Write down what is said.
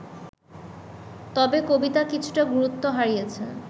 তবে কবিতা কিছুটা গুরুত্ব হারিয়েছে